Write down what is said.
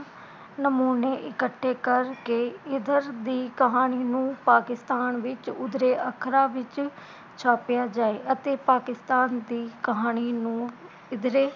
ਨਮੂਨੇ ਇਕੱਠੇ ਕਰਕੇ ਇਧਰ ਦੀ ਕਹਾਣੀ ਨੂੰ ਪਾਕਿਸਤਾਨ ਵਿਚ ਉਭਰੇ ਅੱਖਰਾਂ ਵਿਚ ਛਾਪਿਆ ਜਾਏ ਅਤੇ ਪਾਕਿਸਤਾਨ ਦੀ ਕਹਾਣੀ ਨੂੰ ਇਧਰੇ